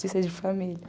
Sem ser de família.